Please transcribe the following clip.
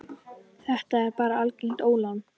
Þetta er bara algert ólán.